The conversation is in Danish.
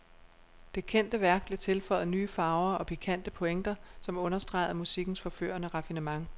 Det kendte værk blev tilføjet nye farver og pikante pointer, som understregede musikkens forførende raffinement.